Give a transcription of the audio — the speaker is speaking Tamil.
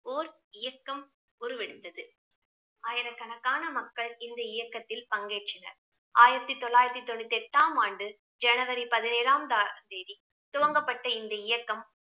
ஓர் இயக்கம் உருவெடுத்தது ஆயிரக்கணக்கான மக்கள் இந்த இயக்கத்தில் பங்கேற்றனர் ஆயிரத்தி தொள்ளாயிரத்தி தொண்ணூத்தி எட்டாம் ஆண்டு ஜனவரி பதினேழாம் ஆம் தா~ தேதி துவங்கப்பட்ட இந்த இயக்கம்